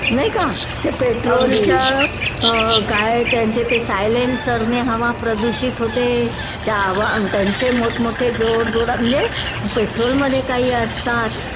नाही का त्या पेट्रोलच्या काय त्याचे ते सायलेन्सरने हवा प्रदूषित होते त्या आवा त्यांचे मोठमोठे जाडजूड म्हणजे पेट्रोल मध्ये काही असतात